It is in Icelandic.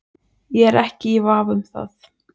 Ég er ekki í vafa um það.